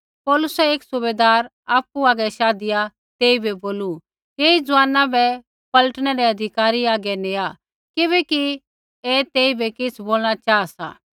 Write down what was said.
पौलुसै एक सूबैदारा आपु हागै शाधिया तेइबै बोलू ऐई ज़ुआना बै पलटनै रै अधिकारी हागै नेआ किबैकि ऐ तेइबै किछ़ बोलणा चाहा सा